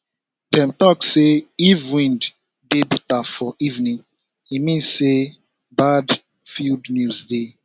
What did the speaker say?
dem talk say if wind dey bitter for evening e mean say bad field news dey